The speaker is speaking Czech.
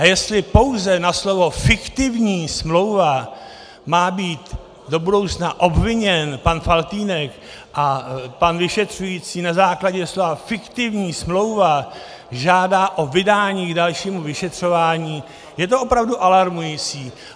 A jestli pouze na slovo "fiktivní smlouva" má být do budoucna obviněn pan Faltýnek a pan vyšetřující na základě slova "fiktivní smlouva" žádá o vydání k dalšímu vyšetřování, je to opravdu alarmující.